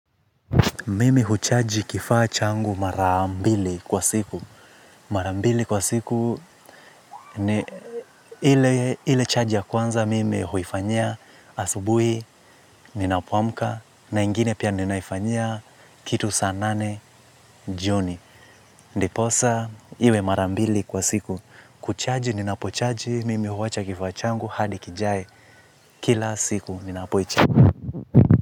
Mimi huchaji kifaa changu mara mbili kwa siku. Marambili kwa siku ni ile chaji ya kwanza mimi huifanyia asubui, ninapo amka, na ingine pia ninaifanyia kitu saa nane, joni. Ndiposa, iwe mara mbili kwa siku. Kuchaji, ninapochaji, mimi huwacha kifaa changu hadi kijae. Kila siku, ninapoichaji.